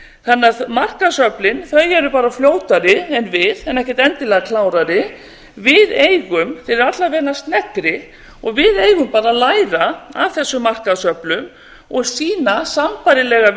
það ekki markaðsöflin eru bara fljótari en við en ekkert endilega klárari þeir eru alla vega sneggri og við eigum bara að læra af þessum markaðsöflum og sýna sambærilegan